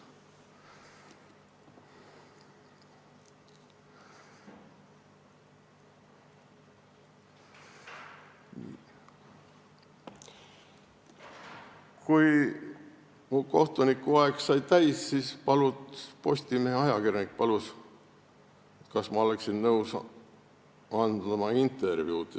Kui mu kohtunikuaeg sai täis, siis Postimehe ajakirjanik palus, kas ma oleksin nõus andma intervjuud.